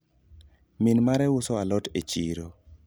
min mare uso alot e chiro